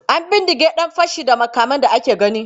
An bindige ɗan fashi da makamin da aka gani.